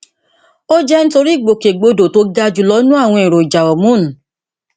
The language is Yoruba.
ó jẹ nítorí ìgbòkègbodò tó ga jùlọ nínú àwọn èròjà hormone